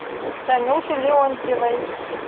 танюши леонтьевой